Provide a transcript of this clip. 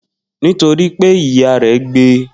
Nitoripe iya re gbe e.